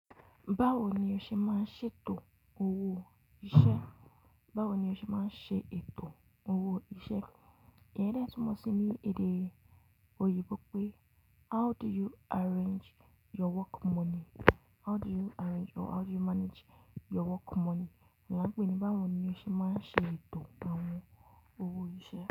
Báwo ni o ṣe máa ń ṣètò owó iṣẹ́? Báwo ni o ṣe máa ń ṣe ètò owó iṣẹ́? Ìyẹn ni ẹ́ tún mọ̀ sí ní èdè òyìnbó pé how do you arrange your work money? How do you arrange or how do you manage your work money? Wọn pè é ní báwo ni o ṣe máa ń ṣe ètò àwọn owó iṣẹ́.